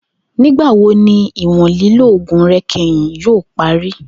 Nigbawo ni iwọn lilo oogun rẹ kẹhin yoo pari?.